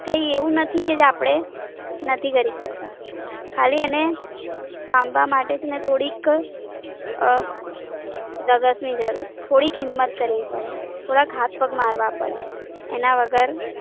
કઈ એવું નથી કે આપડે નથી કરી શકતા. ખાલી એને પામવા માટે જ ને થોડીક અમ ધગસ ની જરૂર છે. થોડી હિમ્મત કરવી પડે. થોડા હાથ પગ મારવા પડે. એના વગર